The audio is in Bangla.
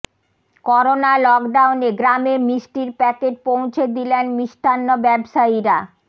করোনা লকডাউনে গ্রামে মিষ্টির প্যাকেট পৌঁছে দিলেন মিষ্টান্ন ব্যবসায়ীরা